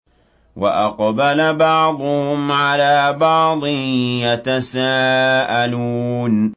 وَأَقْبَلَ بَعْضُهُمْ عَلَىٰ بَعْضٍ يَتَسَاءَلُونَ